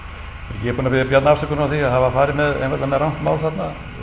ég er búinn að biðja Bjarna afsökunar á því að hafa farið með einfaldlega rangt mál þarna